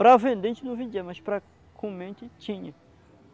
Para vender a gente não vendia, mas para comer a gente tinha.